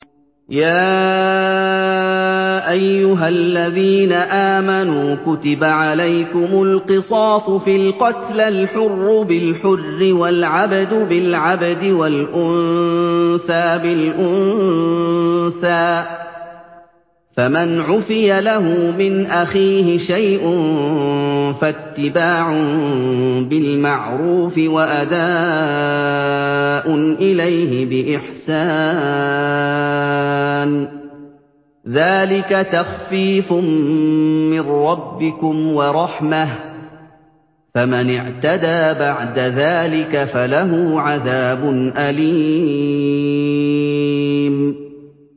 يَا أَيُّهَا الَّذِينَ آمَنُوا كُتِبَ عَلَيْكُمُ الْقِصَاصُ فِي الْقَتْلَى ۖ الْحُرُّ بِالْحُرِّ وَالْعَبْدُ بِالْعَبْدِ وَالْأُنثَىٰ بِالْأُنثَىٰ ۚ فَمَنْ عُفِيَ لَهُ مِنْ أَخِيهِ شَيْءٌ فَاتِّبَاعٌ بِالْمَعْرُوفِ وَأَدَاءٌ إِلَيْهِ بِإِحْسَانٍ ۗ ذَٰلِكَ تَخْفِيفٌ مِّن رَّبِّكُمْ وَرَحْمَةٌ ۗ فَمَنِ اعْتَدَىٰ بَعْدَ ذَٰلِكَ فَلَهُ عَذَابٌ أَلِيمٌ